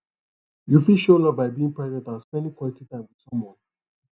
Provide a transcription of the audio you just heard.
you fit show love by being present and spending quality time with someone